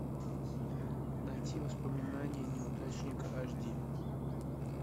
найти воспоминания неудачника аш ди